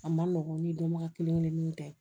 A ma nɔgɔn ni dɔnbaga kelenkelenw tɛ